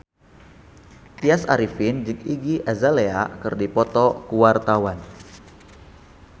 Tya Arifin jeung Iggy Azalea keur dipoto ku wartawan